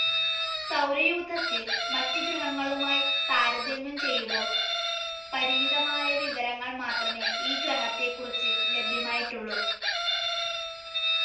സൗരയൂഥത്തിൽ മറ്റ് ഗ്രഹങ്ങളുമായി താരതമ്യം ചെയ്യുബോൾ പരിമിതമായ വിവരങ്ങൾ മാത്രമേ ഈ ഗ്രഹത്തെ കുറിച്ച് ലഭ്യമായിട്ടുള്ളു.